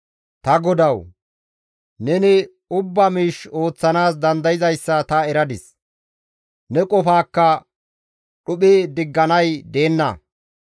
«Ta Godawu! Neni ubba miish ooththanaas dandayzayssa ta eradis; ne qofaakka dhuphi digganay deenna.